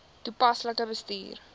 toepaslik bestuur